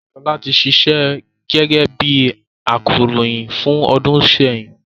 Ṣọlá ti ṣíṣe gẹ́gẹ́ bí akọròyìn fún ọdún sẹ́yìn